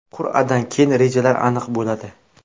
Qur’adan keyin rejalar aniq bo‘ladi.